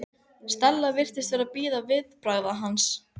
Skýin eru drifhvít segl á rennandi skipi.